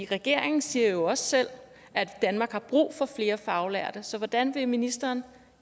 regeringen siger jo også selv at danmark har brug for flere faglærte så hvordan vil ministeren